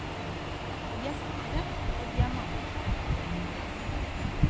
De er store, og de er mange.